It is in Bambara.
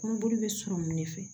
Kɔnɔboli bɛ sɔrɔ min fɛ